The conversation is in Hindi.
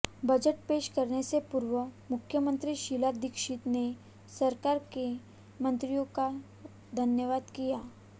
बजट पेश करने से पूर्व मुख्यमंत्री शीला दीक्षित ने सरकार के मंत्रियों का धन्यवाद किया